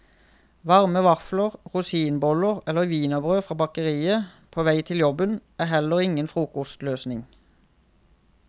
Varme vafler, rosinboller eller wienerbrød fra bakeriet på vei til jobben, er heller ingen frokostløsning.